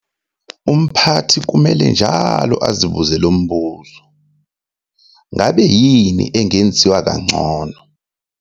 Umphathi kumele njalo azibuze lo mbuzo- "Ngabe yini engenziwa kangcono?"